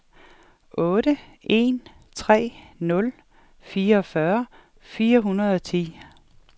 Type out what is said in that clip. otte en tre nul fireogfyrre fire hundrede og ti